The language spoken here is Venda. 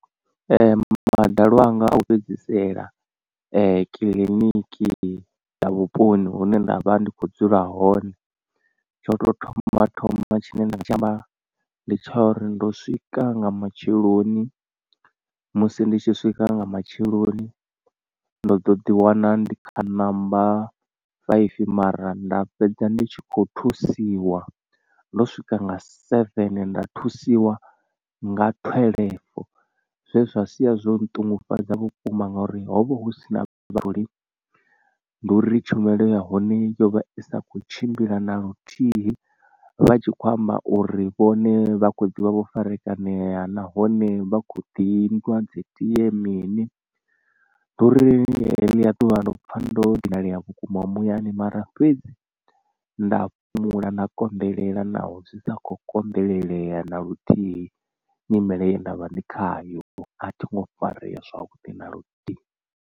Madalo anga a u fhedzisela kiḽIniki dza vhuponi hune nda vha ndi kho dzula hone tsha u tou thoma thoma tshine nda nga tshi amba ndi tsha uri ndo swika nga matsheloni. Musi ndi tshi swika nga matsheloni ndo ḓo ḓiwana ndi khou ṋamba five mara nda fhedza ndi tshi kho thusiwa ndo swika nga seven nda thusiwa nga twelve zwe zwa sia zwo ṱungufhadza vhukuma nga uri hovha husina vhathu ndi uri tshumelo ya hone yo vha i sa kho tshimbila na luthihi vha tshi khou amba uri vhone vha kho ḓivha vho farakanea nahone vha kho ḓi nwa dzi tie mini. Ndi uri heḽia ḓuvha ndo pfa ndo dinalea vhukuma muyani mara fhedzi nda fhumula nda konḓelela naho zwi sa kho konḓelelea na luthihi nyimele ye ndavha ndi khayo a thingo farea zwavhuḓi na luthihi.